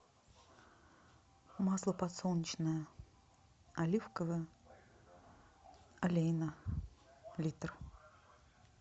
масло подсолнечное оливковое олейна литр